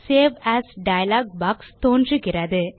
save as dialog box தோன்றுகிறது